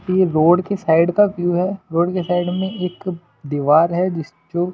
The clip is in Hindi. ये रोड के साइड का व्यू है रोड के साइड में एक दीवार है जिस जो --